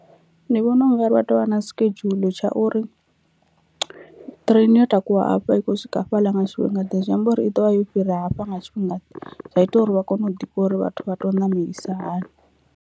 Ndi vhona ungari vha tovha na schedule tsha uri ṱireni yo takuwa afha i khou swika hafhaḽa nga tshifhinga ḓe zwi amba uri i ḓovha yo fhira hafha nga tshifhinga zwa ita uri vha kone u ḓivha uri vhathu vha tea u namelisa hani.